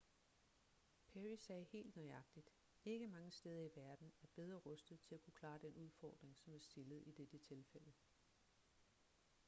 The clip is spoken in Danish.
perry sagde helt nøjagtigt ikke mange steder i verden er bedre rustet til at kunne klare den udfordring som er stillet i dette tilfælde